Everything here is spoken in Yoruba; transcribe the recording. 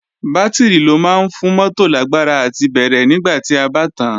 Bátìrì ló máa ń fún mótò lágbára àti bẹ̀rẹ̀ nígbà tí a bá tàán